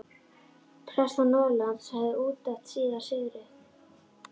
Prestar norðanlands höfðu útnefnt síra Sigurð.